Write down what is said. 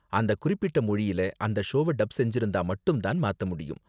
அந்த குறிப்பிட்ட மொழியில அந்த ஷோவ டப் செஞ்சிருந்தா மட்டும் தான் மாத்த முடியும்.